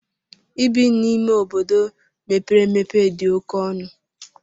Ibi n'ime obodo mepere emepe dị oke ọnụ.